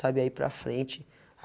Sabe aí para frente?